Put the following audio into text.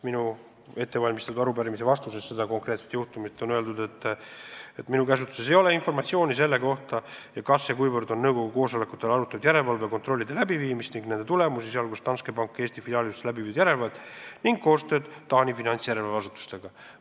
Minu käsutuses ei ole informatsiooni selle kohta, kui palju ja kas üldse on nõukogu koosolekutel arutatud järelevalve kontrollide läbiviimist ning nende tulemusi, kui tegu on olnud Danske panga Eesti filiaalis läbiviidud järelevalvega ning koostööga Taani finantsjärelevalve asutusega.